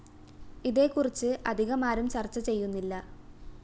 ഇതേക്കുറിച്ച് അധികമാരും ചര്‍ച്ച ചെയ്യുന്നില്ല